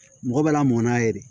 Mɔgɔ bɛ lamɔ n'a ye de